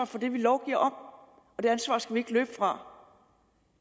for det vi lovgiver om og det ansvar skal vi ikke løbe fra